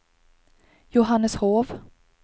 Johanneshov